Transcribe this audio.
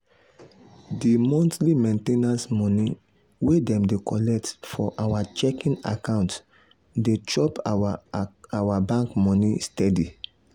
the monthly main ten ance money wey dem dey collect for our checking account dey chop our bank money steady.